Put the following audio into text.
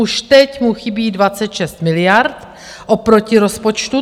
Už teď mu chybí 26 miliard oproti rozpočtu.